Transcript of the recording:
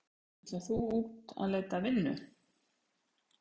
Sindri: Ætlar þú út að leita að vinnu?